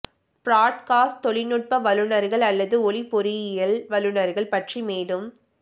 broadcast தொழில்நுட்ப வல்லுநர்கள் அல்லது ஒலி பொறியியல் வல்லுநர்கள் பற்றி மேலும்